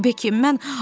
Beki,